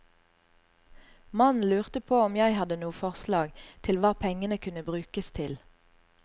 Mannen lurte på om jeg hadde noe forslag til hva pengene kunne brukes til.